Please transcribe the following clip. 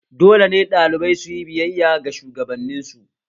Dole ne ɗalibai suyi biyayya ga shugabanin su